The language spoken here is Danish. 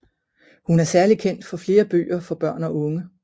Hun er særlig kendt for flere bøger for børn og unge